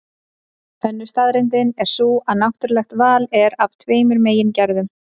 Önnur staðreyndin er sú að náttúrulegt val er af tveimur megin gerðum.